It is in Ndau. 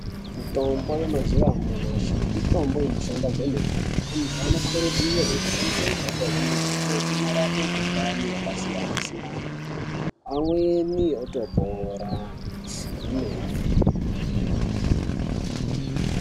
Mitombo yemazuwa anyamashi mitombo inoshanda kwemene antu anokurudzirwa kushandisa mitombo iyi ngekuti inorapa mikuhlani yakasiyana-siyana amweni otopora kwemene.